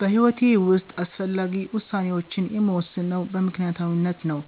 በሂዎቴ ዉስጥ አስፈላጊ ውሳኔወቺን የምወስነው በምክኒያታዊነት ነው።